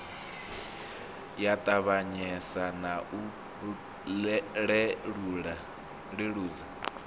ya ṱavhanyesa na u leludza